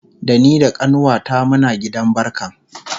Da ni da kanuwata Muna gidan barkan